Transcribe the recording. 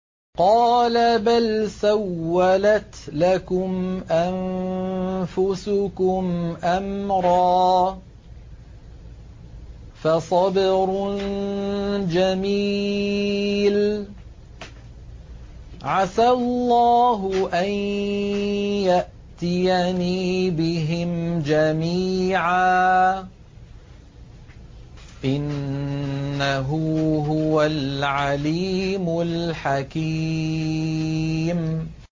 قَالَ بَلْ سَوَّلَتْ لَكُمْ أَنفُسُكُمْ أَمْرًا ۖ فَصَبْرٌ جَمِيلٌ ۖ عَسَى اللَّهُ أَن يَأْتِيَنِي بِهِمْ جَمِيعًا ۚ إِنَّهُ هُوَ الْعَلِيمُ الْحَكِيمُ